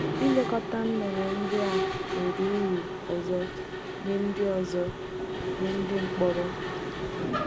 Ilekọta nnụnụ ndị a nwere ụrụ ọzọ nye ndị ọzọ nye ndị mkpọrọ.